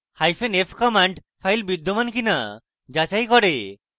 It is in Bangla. hyphen f command file বিদ্যমান কিনা যাচাই করে